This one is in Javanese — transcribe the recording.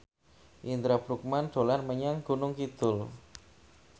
Indra Bruggman dolan menyang Gunung Kidul